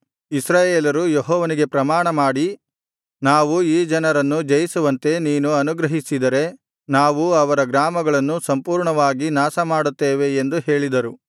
ಇಸ್ರಾಯೇಲರು ಯೆಹೋವನಿಗೆ ಪ್ರಮಾಣಮಾಡಿ ನಾವು ಈ ಜನರನ್ನು ಜಯಿಸುವಂತೆ ನೀನು ಅನುಗ್ರಹಿಸಿದರೆ ನಾವು ಅವರ ಗ್ರಾಮಗಳನ್ನು ಸಂಪೂರ್ಣವಾಗಿ ನಾಶಮಾಡುತ್ತೇವೆ ಎಂದು ಹೇಳಿದರು